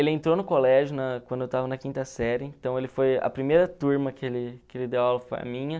Ele entrou no colégio na quando eu estava na quinta série, então ele foi a primeira turma que ele que ele deu aula foi a minha.